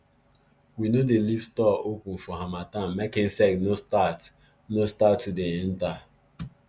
we no dey leave store open for harmattan make insect no start no start to dey enter